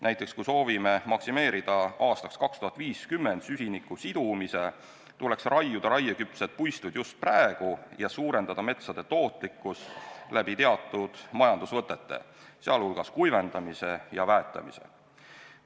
Näiteks, kui soovime maksimeerida süsiniku sidumise aastaks 2050, tuleks raieküpsed puistud raiuda just praegu ning suurendada metsade tootlikkust teatud majandusvõtete, sh kuivendamise ja väetamise kaudu.